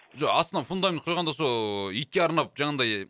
жоқ астына фундамент құйғанда сол ыыы итке арнап жаңандай